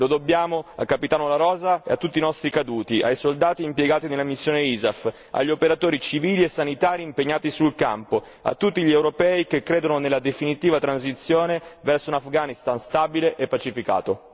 Lo dobbiamo al capitano La Rosa e a tutti i nostri caduti, ai soldati impiegati nella missione Isaf, agli operatori civili e sanitari impegnati sul campo, a tutti gli europei che credono nella definitiva transizione verso un Afghanistan stabile e pacificato.